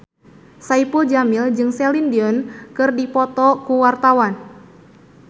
Saipul Jamil jeung Celine Dion keur dipoto ku wartawan